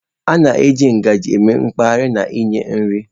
A na-eji ngaji eme mkpahari na inye nri.